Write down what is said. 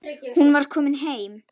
Hún var komin heim.